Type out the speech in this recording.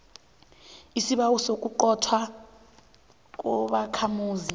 isibawo sokuquntwa kobakhamuzi